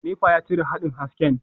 Nepa ya cire haɗin hasken.